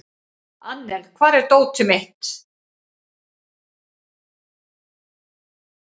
Annel, hvar er dótið mitt?